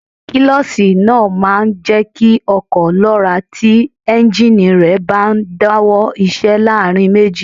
Kílọ̀ṣì náà máa ń jẹ́ kí ọkọ̀ lọ́ra tí éúnjínì rẹ̀ bá ń dáwọ́ iṣẹ́ láàrin méjì